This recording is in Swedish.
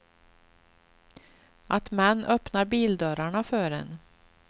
Att män öppnar bildörrarna för en.